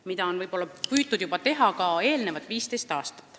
Seda on justkui püütud teha juba 15 aastat.